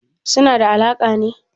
Suna da alaƙa ne?